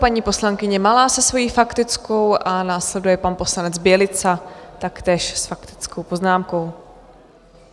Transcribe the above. Paní poslankyně Malá se svojí faktickou a následuje pan poslanec Bělica, taktéž s faktickou poznámkou.